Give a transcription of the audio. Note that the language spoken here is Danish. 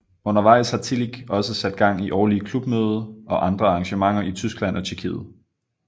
Undervejs har Tillig også sat gang i årlige klubmøde og andre arrangementer i Tyskland og Tjekkiet